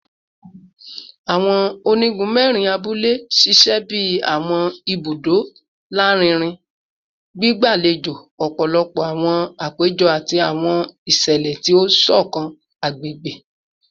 Awọn onigun mẹrin abule ṣiṣẹ bi awọn ibudo larinrin, gbigbalejo ọpọlọpọ awọn apejọ ati awọn iṣẹlẹ ti o ṣọkan agbegbe